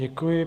Děkuji.